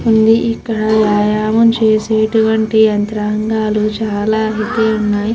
ఇక్కడ వ్యాయాయం చేసే లాంటి యంత్రాళ్ళు చాల అయితే వున్నాయ్.